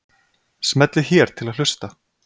smellið hér til að hlusta